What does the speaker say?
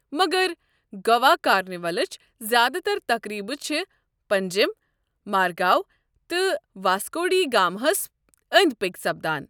مگر گوا کارنیولٕچ زیادٕ تر تقریبہٕ چھِ پنجیم، مارگاو تہٕ واسکو ڈی گاما ہَس أنٛدۍ پٔکۍ سپدان۔